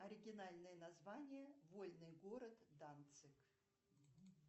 оригинальное название вольный город данциг